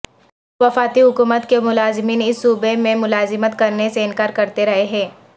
وفاقی حکومت کے ملازمین اس صوبے میں ملازمت کرنے سے انکار کرتے رہے ہیں